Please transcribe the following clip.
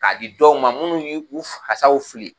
K'a di dɔw ma minnu y' u fasaw fili.